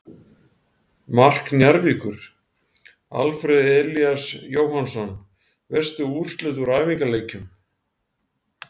Mark Njarðvíkur: Alfreð Elías Jóhannsson Veistu úrslit úr æfingaleikjum?